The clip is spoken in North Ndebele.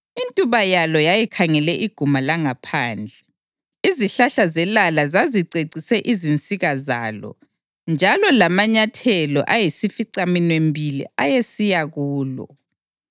Intuba yalo yayikhangele iguma langaphandle; izihlahla zelala zazicecise izinsika zalo, njalo lamanyathelo ayisificaminwembili ayesiya kulo.